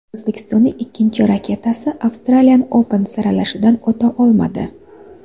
O‘zbekistonning ikkinchi raketkasi Australian Open saralashidan o‘ta olmadi.